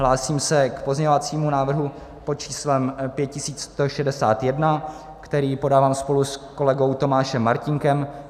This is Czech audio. Hlásím se k pozměňovacímu návrhu pod číslem 5161, který podávám spolu s kolegou Tomášem Martínkem.